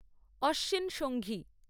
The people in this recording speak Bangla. অশ্বিন সংঘী